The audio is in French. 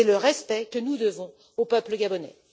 C'est le respect que nous devons au peuple gabonais.